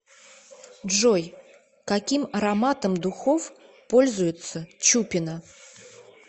джой каким ароматом духов пользуется чупина